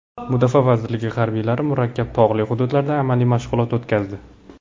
Mudofaa vazirligi harbiylari murakkab tog‘li hududlarda amaliy mashg‘ulot o‘tkazdi.